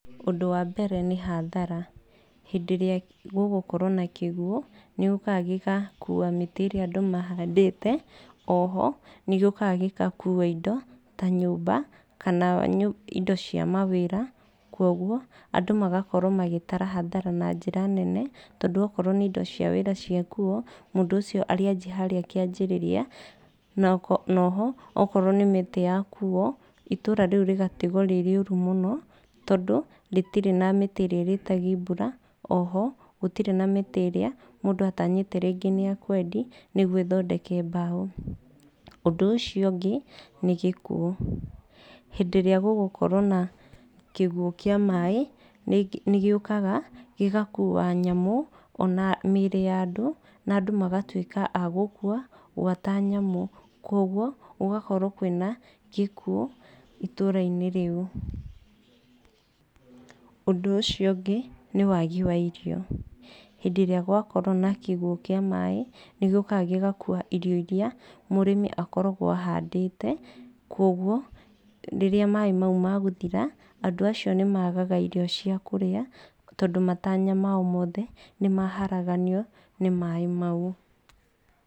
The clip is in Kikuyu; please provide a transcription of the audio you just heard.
Ũndũ wa mbere nĩ hathara. Hĩndĩ ĩrĩa gũgũkorwo na kĩguo, nĩ gĩukaga gĩgakua mĩtĩ ĩrĩa andũ mahandĩte. Oho nĩ gĩũkaga gĩgakua indo ta nyũmba kana indo cia mawĩra. Koguo andũ magakorwo magĩtara hathara na njĩra nene, tondũ okorwo nĩ indo cia wĩra ciakuo, mũndũ ũcio arĩanjia harĩa kĩanjĩrĩria. Na oho okorwo nĩ mĩtĩ yakuo, itũra rĩu rĩgatigwo rĩ rĩũru mũno tondũ rĩtirĩ na mĩtĩ ĩrĩa ĩrĩĩtagia mbura, oho gũtirĩ na mĩtĩ ĩrĩa rĩngĩ mũndũ atanyĩte nĩ ekwendia nĩguo ĩthondeke mbaũ. Ũndũ ũcio ũngĩ, nĩ gĩkuo. Hĩndĩ ĩrĩa gũgũkorwo na kĩguo kĩa maaĩ, nĩ gĩũkaga gĩgakua nyamũ na mĩĩrĩ ya andũ, na andũ magatuĩka a gũkua gwata nyamũ. Koguo gũgakorwo kwĩna gĩkuo itũũra-inĩ rĩu. Ũndũ ũcio ũngĩ, nĩ wagi wa irio. Hĩndĩ ĩrĩa gwakorwo na kĩguo kĩa maaĩ nĩ gĩũkaga gĩgakuwa irio irĩa mũrĩmi akoragwo ahandĩte. Koguo rĩrĩa maaĩ mau magũthira, andũ acio nĩ magaga irio cia kũrĩa tondũ matanya mao mothe nĩ maharaganio nĩ maaĩ mau.